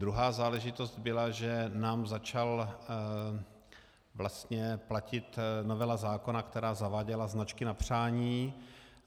Druhá záležitost byla, že nám začala vlastně platit novela zákona, která zaváděla značky na přání.